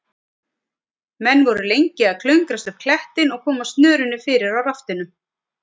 Menn voru lengi að klöngrast upp klettinn og koma snörunni fyrir á raftinum.